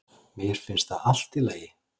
Mér finnst það allt í lagi